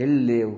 Ele leu